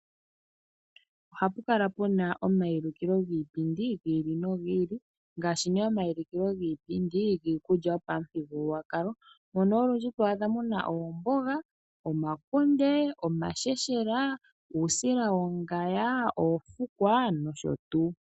Ohapu kala pu na omaulukilo giipindi gi ili nogi ili ngaashi nee omaulukilo giipindi giikulya yopamuthigululwakalo mono olundji to adha mu na oomboga, omakunde, uusila wongundo, uusila wongaya, oofukwa nosho tuu.